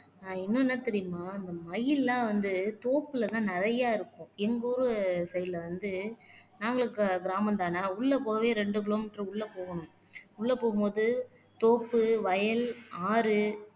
ஆஹ் என்னென்ன தெரியுமா இந்த மயில் எல்லாம் வந்து தோப்புலதான் நிறைய இருக்கும் எங்க ஊரு சைடுல வந்து நாங்களும் க கிராமம்தானே உள்ள போகவே ரெண்டு கிலோமீட்டர் உள்ள போகனும் உள்ள போகும்போது தோப்பு வயல் ஆறு